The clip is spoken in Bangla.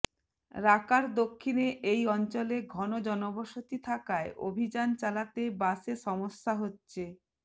রাকার দক্ষিণে এই অঞ্চলে ঘন জনবসতি থাকায় অভিযান চালাতে বাশে সমস্যা হচ্ছে